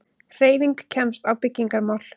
HREYFING KEMST Á BYGGINGARMÁL